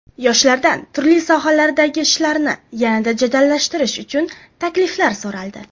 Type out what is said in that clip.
Yoshlardan turli sohalardagi ishlarni yanada jadallashtirish uchun takliflar so‘raldi.